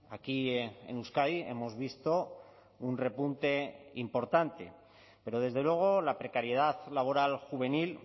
aquí en euskadi hemos visto un repunte importante pero desde luego la precariedad laboral juvenil